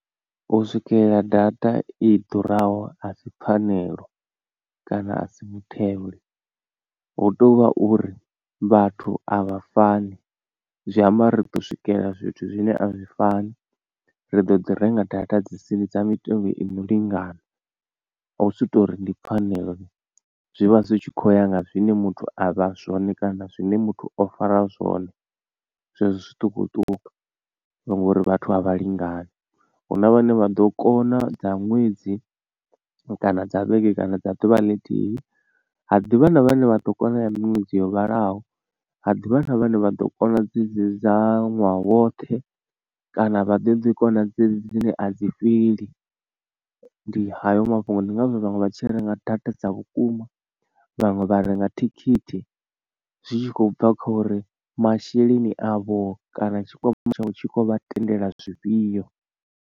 U swikelela data i ḓuraho asi pfhanelo kana a si mutheo hu tovha uri vhathu avha fani zwi amba ri ḓo swikelela zwithu zwine a zwi fani ri ḓo ḓi renga data dzi sini dza mitengo ino lingana, hu si tori ndi pfhanelo zwivha zwi tshi khou ya nga zwine muthu avha zwone kana zwine muthu o fara zwone zwezwo zwiṱukuṱuku ngori vhathu a vha lingani. Huna vhane vha ḓo kona dza ṅwedzi kana dza vhege kana dza ḓuvha ḽithihi ha ḓivha na vhane vha ḓo kona ya miṅwedzi yo vhalaho ha ḓivha na vhane vha ḓo kona dzedzi dza ṅwaha woṱhe kana vha ḓo ḓi kona dzedzi dzine a dzi fheli ndi hayo mafhungo. Ndi ngazwo vhaṅwe vha tshi renga data dza vhukuma vhaṅwe vha renga thikhithi zwi tshi khou bva kho uri masheleni avho kana tshikwama tshavho tshi khou vha tendela zwifhio.